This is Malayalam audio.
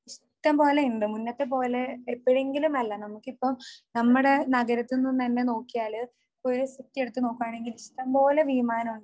ഇഷ്ടമ്പോലെയുണ്ട് മുന്നത്തെ പോലെ എപ്പോഴെങ്കിലുമല്ല എനിക്കിപ്പോ നമ്മുടെ നഗരത്തിൽ നിന്ന് തന്നെ നോക്കിയാൽ ഒരു ദിവസോക്കെ എടുത്ത് നോക്കുവാണെങ്കിൽ ഇഷ്ടംപോലെ വിമാനമുണ്ട്